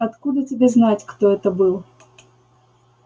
откуда тебе знать кто это был